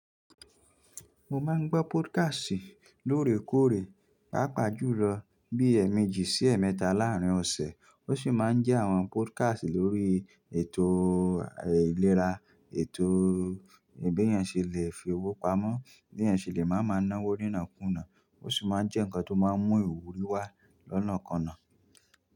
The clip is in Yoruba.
Mo máa ń gbọ́ podcast lóòrèkóòrè, pàápàá jùlọ bí ẹ̀ẹ̀mejì sí ẹ̀ẹ̀mẹ́ta láàárín ọ̀sẹ̀. Ó sì máa ń jẹ́ àwọn podcast lórí ètò ìlera, ètò bí ẹni ṣe lè fi owó pamọ́, bí ẹni ṣe lè máa ń náwó nínàkùná, ó sì máa ń jẹ́ ǹkan tó máa ń mú ìwúrí wá lọ́nàkọnà.